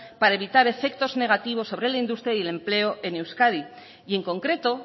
para evitar efectos negativos sobre la industria y el empleo en euskadi y en concreto